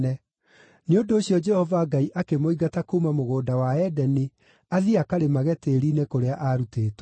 Nĩ ũndũ ũcio Jehova Ngai akĩmũingata kuuma Mũgũnda wa Edeni athiĩ akarĩmage tĩĩri-inĩ kũrĩa aarutĩtwo.